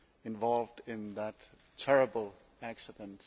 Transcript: involved in that terrible accident.